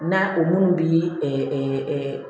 Na o minnu bi